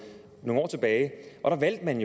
nogle år tilbage og da valgte man